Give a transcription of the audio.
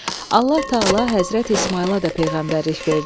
Allah Təala Həzrəti İsmayıla da peyğəmbərlik verdi.